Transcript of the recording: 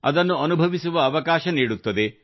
ಅದನ್ನು ಅನುಭವಿಸುವ ಅವಕಾಶ ನೀಡುತ್ತದೆ